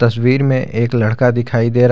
तस्वीर में एक लड़का दिखाई दे रहा--